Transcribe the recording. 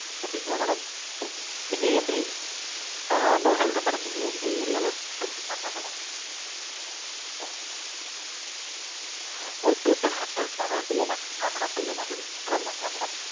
okay ங்களா madam நீங்க நீங்க எந்த ஆஹ் இதோ சொல்றேன் madam நீங்க எந்த area ல இருக்கீங்க தெரிஞ்சுக்கலாமா madam? okay central தில்லைநகர்ங்களா madam? Thillai Nagar ங்களா madam?